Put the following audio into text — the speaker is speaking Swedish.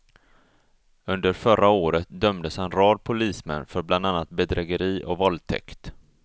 Under förra året dömdes en rad polismän för bland annat bedrägeri och våldtäkt.